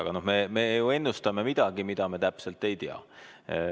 Aga no me ju ennustame midagi, mida me täpselt ei tea.